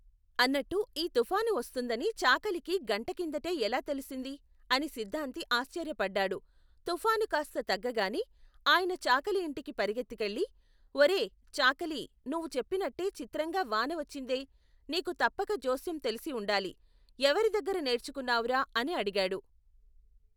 అన్నట్టు ఈ తుఫాను వస్తుందని చాకలికి గంటకిందటే ఎలా తెలిసింది, అని సిద్ధాంతి ఆశ్చర్యపడ్డాడు, తుఫాను కాస్త తగ్గగానే, ఆయన చాకలి ఇంటికి పరిగెత్తికెళ్లి, ఒరేయ్, చాకలి నువ్వు చెప్పినట్టే చిత్రంగా వాన వచ్చిందే, నీకు తప్పక జోస్యం తెలిసి ఉండాలి, ఎవరిదగ్గర నేర్చుకున్నావురా అని అడిగాడు.